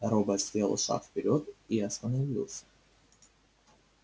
робот сделал шаг вперёд и остановился